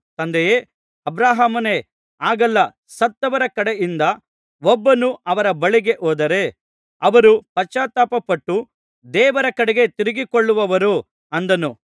ಅವನು ತಂದೆಯೇ ಅಬ್ರಹಾಮನೇ ಹಾಗಲ್ಲ ಸತ್ತವರ ಕಡೆಯಿಂದ ಒಬ್ಬನು ಅವರ ಬಳಿಗೆ ಹೋದರೆ ಅವರು ಪಶ್ಚಾತ್ತಾಪಪಟ್ಟು ದೇವರ ಕಡೆಗೆ ತಿರುಗಿಕೊಳ್ಳುವರು ಅಂದನು